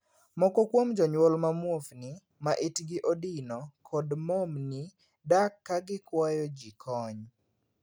Moko kuom jonyuol ma muofni, ma itgi odino, kod momni dak ka gikwayo jii kony.